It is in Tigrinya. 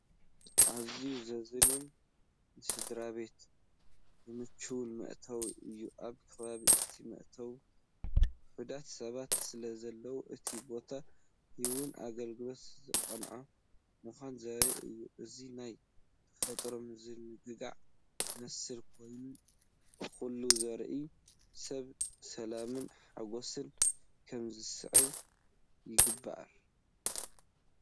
ኣዝዩ ዘዛንን ንስድራቤት ዝምችእን መእተዊ እዩ! ኣብ ከባቢ እቲ መእተዊ ውሑዳት ሰባት ስለዘለዉ፡ እቲ ቦታ ህያውን ኣገልግሎት ዝቐንዐን ምዃኑ ዘርኢ እዩ። እዚ ናብ ተፈጥሮን ምዝንጋዕን ዝመርሕ ኮይኑ፡ ንኹሉ ዝረኣዮ ሰብ ሰላምን ሓጎስን ከም ዝስምዖ ይገብር!